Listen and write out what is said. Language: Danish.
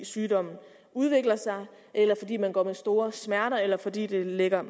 sygdommen udvikler sig eller fordi man går med store smerter eller fordi det lægger